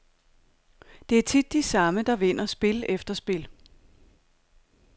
Det er tit de samme, der vinder spil efter spil.